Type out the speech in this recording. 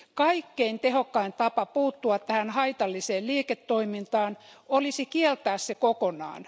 Kaikkein tehokkain tapa puuttua tähän haitalliseen liiketoimintaan olisi kieltää se kokonaan.